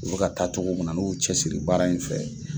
U bi ka taa cogo min na n'u y'u cɛsigi baara in fɛ